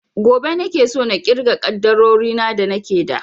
Gobe nake so na irga ƙaddarorin da nake da